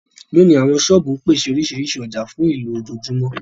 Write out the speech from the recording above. Lónìí, àwọn Ṣọ́ọ̀bù ń pèsè oríṣiríṣi ọjà fún ìlò ojoojúmọ́